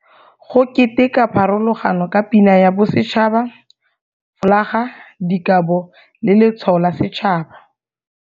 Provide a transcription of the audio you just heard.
Go keteka pharologano ka Pina ya Bosetšhaba, folaga, dikabo, le letshwao la setšhaba.